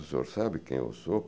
O senhor sabe quem eu sou?